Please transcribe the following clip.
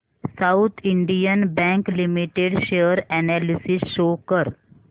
south Indian bank limited share analysis show कर